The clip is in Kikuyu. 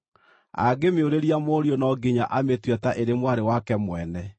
Angĩmĩũrĩria mũriũ, no nginya amĩtue ta ĩrĩ mwarĩ wake mwene.